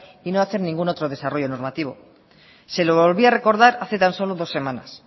y no hacer ningún otro desarrollo normativo se lo volví a recordar hace tan solo dos semanas